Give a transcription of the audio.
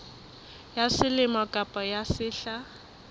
ya selemo kapa ya sehla